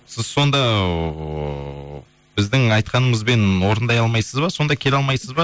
сіз сонда ыыы біздің айтқанымызбен орындай алмаймыз ба сонда келе алмайсыз ба